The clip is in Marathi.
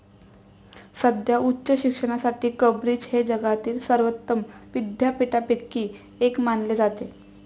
सध्या उच्च शिक्षणासाठी कंब्रिज हे जगातील सर्वोत्तम विद्यापीठांपैकी एक मानले जाते.